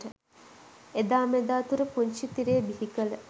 එදා මෙදා තුර පුංචි තිරය බිහි කළ